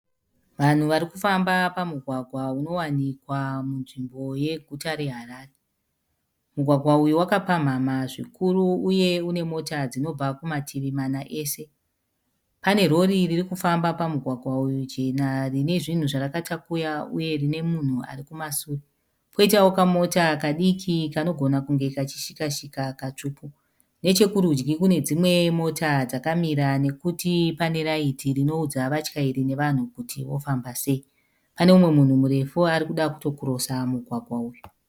Vanhu varikufamba pamugwagwa unowanikwa munzvimbo yeguta reHarare. Mugwagwa uyu wakapamhamha zvikuru uye unemota dzinobva kumativi mana ese. Panerori ririkufamba pamugwagwa uyu jena rinezvinhu zvarakatakuya uye, rinemunhu arikumasure. Poitawo kamota kadiki kanogona kunge kachishikashika katsvuku. Nechekurudyi kune dzimwe mota dzakamira nekuti paneraiti rinoudza vatyairi nevanhu kuti vofamba sei. Paneumwe munhu murefu arikuda kutokirosa mugwagwa uyu.